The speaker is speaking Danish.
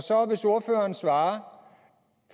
hvis ordføreren svarer